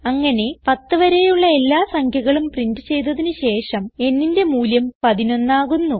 അങ്ങനെ പത്ത് വരെയുള്ള എല്ലാ സംഖ്യകളും പ്രിന്റ് ചെയ്തതിന് ശേഷം nന്റെ മൂല്യം 11 ആകുന്നു